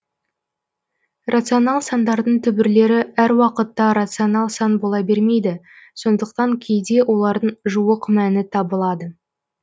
рационал сандардың түбірлері әр уақытта рационал сан бола бермейді сондықтан кейде олардың жуық мәні табылады